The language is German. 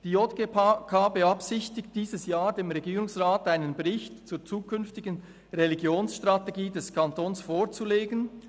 «Die JGK beabsichtigt, dieses Jahr dem Regierungsrat einen Bericht zur künftigen Religionsstrategie des Kantons […] vorzulegen.